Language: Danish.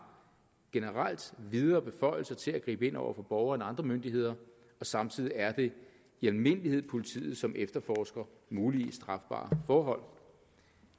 generelt videre beføjelser til at gribe ind over for borgere end andre myndigheder og samtidig er det i almindelighed politiet som efterforsker muligvis strafbare forhold